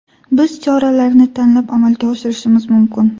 Biz choralarni tanlab amalga oshirishimiz mumkin.